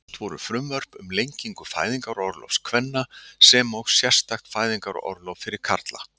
Flutt voru frumvörp um lengingu fæðingarorlofs kvenna sem og sérstakt fæðingarorlof fyrir karla.